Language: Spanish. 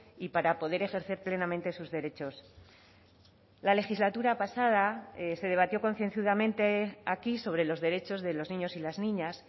y para poder ejercer plenamente sus derechos la legislatura pasada se debatió concienzudamente aquí sobre los derechos de los niños y las niñas